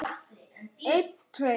Þín Helga Lilja.